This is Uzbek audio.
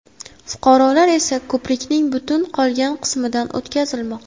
Fuqarolar esa ko‘prikning butun qolgan qismidan o‘tkazilmoqda.